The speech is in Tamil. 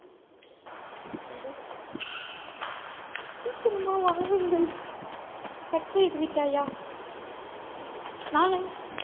சீக்கிரமா வாருங்கள் cut செய்து விட்டாயா நானு